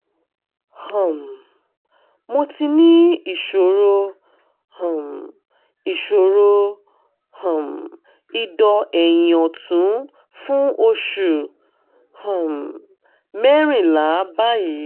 um mo ti ní ìṣòro um ìṣòro um ìdọ́ ẹ̀yin ọ̀tún fún oṣù um mẹ́rìnlá báyìí